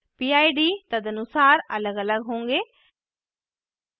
pid तदनुसार अलगअलग होंगे